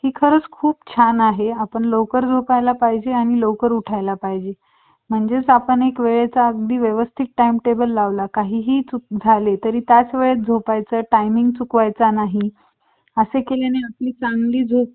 मग काय अडचणच नाही.